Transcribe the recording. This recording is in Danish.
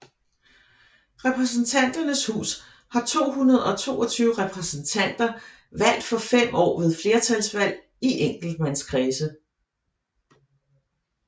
Repræsentanternes hus har 222 repræsentanter valgt for fem år ved flertalsvalg i enkeltmandskredse